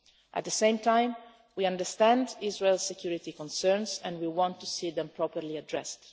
At the same time, we understand Israel's security concerns and we want to see them properly addressed.